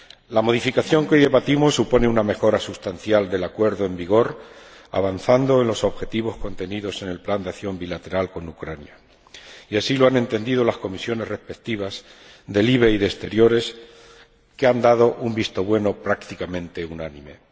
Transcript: La modificación que hoy debatimos supone una mejora sustancial del acuerdo en vigor, avanzando en los objetivos contenidos en el plan de acción bilateral con Ucrania, y así lo han entendido las Comisiones LIBE y AFET, que han dado un visto bueno prácticamente unánime.